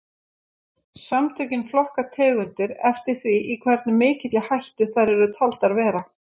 Samtökin flokka tegundir eftir því í hversu mikilli hættu þær eru taldar vera.